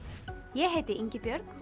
ég heiti Ingibjörg